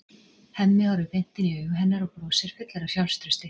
Hemmi horfir beint inn í augu hennar og brosir, fullur af sjálfstrausti.